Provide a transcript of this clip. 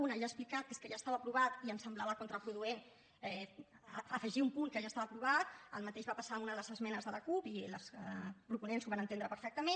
una ja he explicat que és que ja estava aprovat i ens semblava contraproduent afegir un punt que ja estava aprovat el mateix va passar amb una de les esmenes de la cup i les proponents ho van entendre perfectament